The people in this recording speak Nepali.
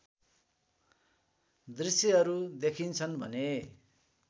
दृश्यहरू देखिन्छन् भने